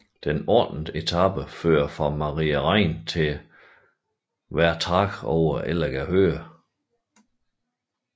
Dens ottende etape fører fra Maria Rain til Wertach over Elleger Höhe